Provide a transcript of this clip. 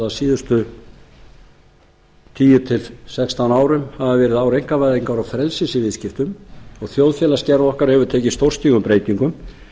síðustu tíu til sextán árum hafa verið ár einkavæðingar og frelsis í viðskiptum og þjóðfélagsgerð okkar hefur tekið stórstígum breytingum